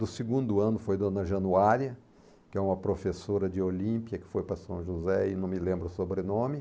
Do segundo ano foi Dona Januária, que é uma professora de Olímpia, que foi para São José e não me lembro o sobrenome.